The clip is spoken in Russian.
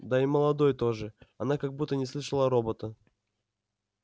да и молодой тоже она как будто не слышала робота